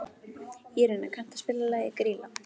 Írena, kanntu að spila lagið „Grýla“?